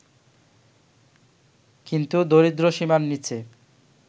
কিন্তু দরিদ্রসীমার নিচে